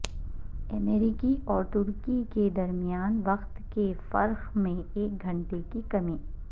امریکہ اور ترکی کےد رمیان وقت کے فرق میں ایک گھنٹے کی کمی